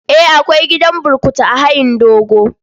Eh, akwai gidan burkutu a hayin dogo.